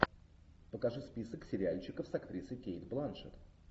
покажи список сериальчиков с актрисой кейт бланшетт